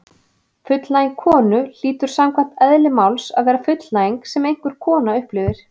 Fullnæging konu hlýtur samkvæmt eðli máls að vera fullnæging sem einhver kona upplifir.